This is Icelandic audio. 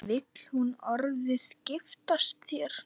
Vill hún orðið giftast þér?